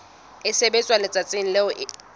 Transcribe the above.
e sebetswa letsatsing leo e